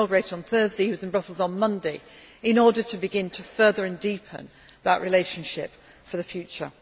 He was inaugurated on Thursday. He was in Brussels on Monday in order to begin to further and deepen that relationship for the future.